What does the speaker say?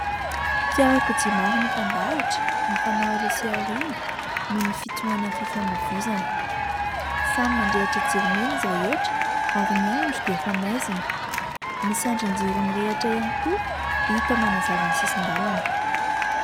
Fiarakodia maro mitandahatra mifanao aloha sy aoriana noho ny fitoanan'ny fifamohivozana. Samy mandrehitra jiro mena izy rehetra ary ny andro dia efa maizina. Misy andrin-jiro mirehitra ihany koa hita manazava ny sisin-dalana.